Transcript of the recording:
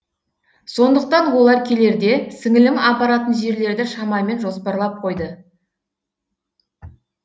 сондықтан олар келерде сіңілім апаратын жерлерді шамамен жоспарлап қойды